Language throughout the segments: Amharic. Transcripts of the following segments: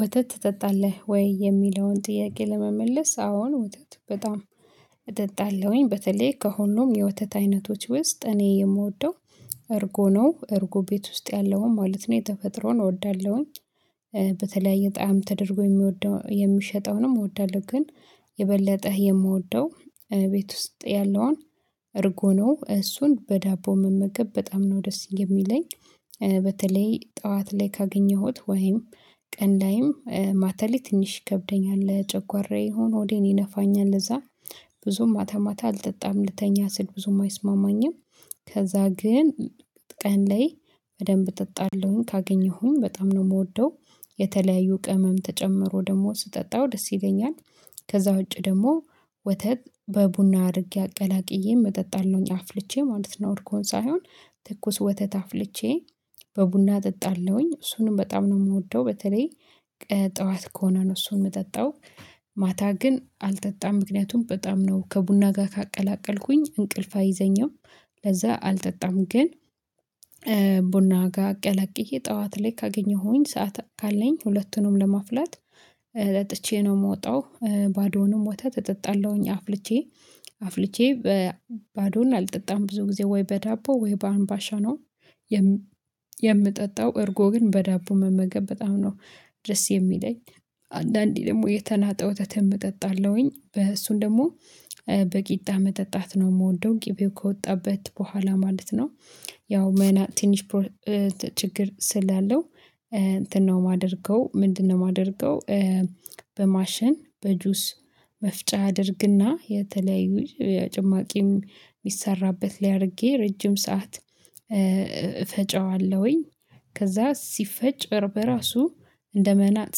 ወተት ትጠጣለህ ወይ? የሚለውን ጥያቄ ለመመለስ አዎ ወተት በጣም እጠጣለሁኝ በተለይ ከሁሉም የወተት አይነቶች ውስጥ እኔ የምወደው እርጎ ነው። እርጎ ቤት ውስጥ ያለውን ማለት ነው የተፈጥሮን እወዳለሁኝ። በተለያየ ጣዕም ተደርጎ የሚወደው የሚሸጠውንም እወዳለሁ ግን የበለጠህ የምወደው ቤት ውስጥ ያለውን እርጎ ነው። እሱን በዳቦ መመገብ በጣም ነው ደስ የሚለኝ። በተለይ ጠዋት ላይ ካገኘሁት ወይም ቀን ላይም ማታ ላይ ትንሽ ይከብደኛል ለጨጓራዬ ይሆን ሆዴን ይነፋኛል ለዛ ብዙም ማታ ማታ አልጠጣም ልተኛ ስል ብዙም አይስማማኝም። ከዛ ግን ቀን ላይ በደንብ እጠጣለሁኝ ካገኘሁኝ በጣም ነው የምወደው የተለያዩ ቅመም ተጨምሮ ደግሞ ስጠጣው ደስ ይለኛል። ከዛ ውጪ ደግሞ ወተት በቡና አድርጌ አቀላቅዬን እጠጣለሁኝ አፍልቼ ማለት ነው። እርጎውን ሳይሆን ትኩስ ወተት አፍልቼ በቡና አጠጣለሁኝ እሱንም በጣም ነው የምወደው። በተለይ ጠዋት ከሆነ ነው እሱን የምጠጣው ማታ ግን አልጠጣም ምክንያቱም በጣም ነው ከቡና ጋር ካቀላቀልኩኝ እንቅልፍ አይዘኝም። ለዛ አልጠጣም ግን ቡና ጋር አቀላቅዬ ጠዋት ላይ ካገኘሁኝ ሰዓት ካለኝ ሁለቱንም ለማፍላት ጠጥቼ ነው የምወጣው። ባዶውንም ወተት እጠጣለሁኝ አፍልቼ አፍልቼ ባዶውን አልጠጣም ብዙ ጊዜ ወይ በዳቦ ወይ በአንባሻ ነው። የምጠጣው እርጎ ግን በዳቦ መመገብ በጣም ነው ደስ የሚለኝ። አንዳንዴ ደግሞ የተናጠ ወተትም እጠጣለሁኝ በ እሱን ደግሞ በቂጣ መጠጣት ነው የምወደው ቂቤው ከወጣበት በኋላ ማለት ነው። ያው መና ትንሽ ችግር ስላለው እንትን ነው የማደርገው ምንድነው? የማደርገው በማሽን በጁስ መፍጫ አደርግና የተለያዩ ጭማቂም የሚሰራበት ላይ አድርጌ ረጅም ሰዓት እፈጨዋለሁኝ። ከዛ ሲፈጭ በራሱ እንደ መናጥ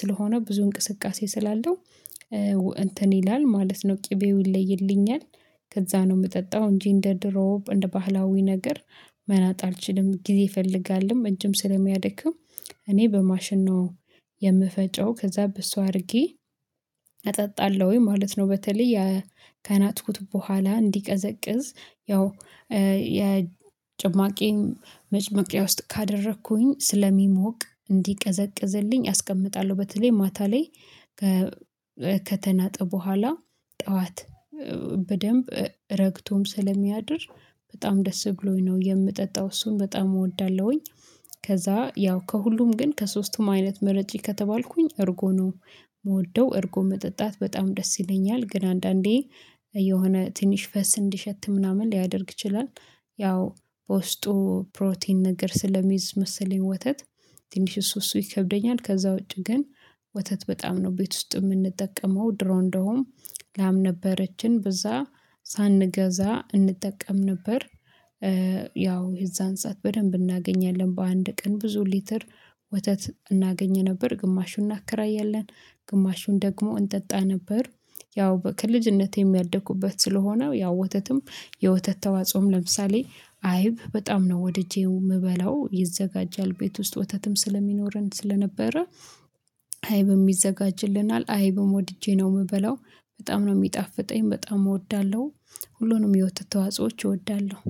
ስለሆነ ብዙ እንቅስቃሴ ስላለው እንትን ይላል ማለት ነው ቅቤው ይለይልኛል። ከዛ ነው የምጠጣው እንጂ እንደ ድሮው እንደ ባህላዊ ነገር መናጥ አልችልም ጊዜ ይፈልጋልም እጅም ስለሚያድክም እኔ በማሽን ነው የምፈጨው ከዛ በሱ አድርጌ እጠጣለሁኝ ማለት ነው። በተለይ የከናጥኩት በኋላ እንዲቀዘቅዝ ያው የጭማቄን መጨመቂያ ውስጥ ካደረኩኝ ስለሚሞቅ እንዲቀዘቅዝልኝ አስቀምጣለሁ። በተለይ ማታ ላይ ከተናጠ በኋላ ጠዋት በደንብ ረግቶም ስለሚያድር በጣም ደስ ብሎኝ ነው የምጠጣው እሱን በጣም እወዳለሁኝ። ከዛ ያው ከሁሉም ግን ከሶስቱም አይነት ምረጪ ከተባልኩኝ እርጎ ነው የምወደው እርጎ መጠጣት በጣም ደስ ይለኛል። ግን አንዳንዴ የሆነ ትንሽ ፈስ እንዲሸት ምናምን ሊያደርግ ይችላል። ያው በውስጡ ፕሮቲን ነገር ስለሚይዝ መሰለኝ ወተት ትንሽ እሱ እሱ ይከብደኛል ከዛ ውጪ ግን ወተት በጣም ነው ቤት ውስጥ የምንጠቀመው ድሮ እንደሆንም ላም ነበረችን በዛ ሳንገዛ እንጠቀም ነበር። ያው የዛን ሰዓት በደንብ እናገኛለን በአንድ ቀን ብዙ ሊትር ወተት እናገኝ ነበር ግማሹን እናከራያለን ግማሹን ደግሞ እንጠጣ ነበር። ያው ከልጅነቴም ያደኩበት ስለሆነ ያው ወተትም የወተት ተዋጽኦም ለምሳሌ አይብ በጣም ነው ወድጄው የምበላው ይዘጋጃል ቤት ውስጥ ወተትም ስለሚኖረን ስለነበረ አይብም ይዘጋጅልናል። አይብም ወድጄ ነው የምበለው በጣም ነው የሚጣፍጠኝ በጣም እወዳለሁ። ሁሉንም የወተት ተዋጽኦች እወዳለሁ